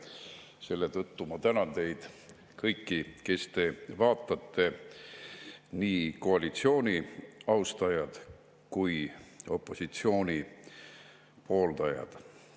Selle tõttu ma tänan teid kõiki, kes te meid vaatate, nii koalitsiooni austajaid kui ka opositsiooni pooldajaid.